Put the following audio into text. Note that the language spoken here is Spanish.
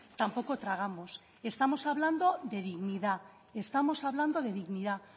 tampoco tragamos estamos hablando de dignidad estamos hablando de dignidad